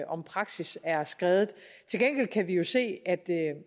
om praksis er skredet til gengæld kan vi jo se